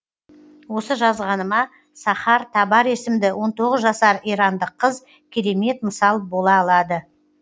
осы жазғаныма сахар табар есімді он тоғыз жасар ирандық қыз керемет мысал бола алады